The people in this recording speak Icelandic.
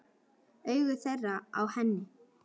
Augu þeirra á henni.